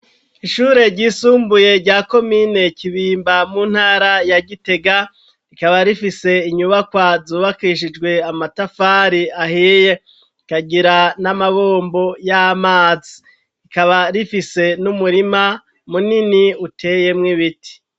Ishure ryisumbuye rya kominekibimba mu ntara ya gitega rikaba rifise inyubakoa zubakishijwe amatafari ahiye ikagira n'amabombo y'amazi rikaba rifise n'umurima munini uteyemwo ibiti.